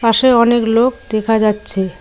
পাশে অনেক লোক দেখা যাচ্ছে।